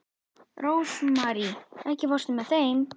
Rósmarý, ekki fórstu með þeim?